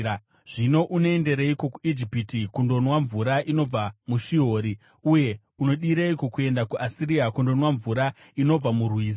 Zvino, unoendereiko kuIjipiti kundonwa mvura inobva muShihori? Uye unodireiko kuenda kuAsiria kundonwa mvura inobva murwizi?